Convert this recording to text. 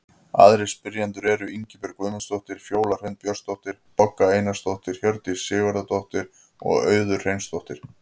Aðrir spyrjendur eru: Ingibjörg Guðmundsdóttir, Fjóla Hrund Björnsdóttir, Bogga Einarsdóttir, Hjördís Sigurðardóttir og Auður Hreinsdóttir.